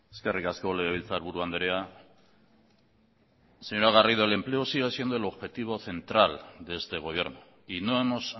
eskerrik asko legebiltzarburu andrea señora garrido el empleo sigue siendo el objetivo central de este gobierno y no hemos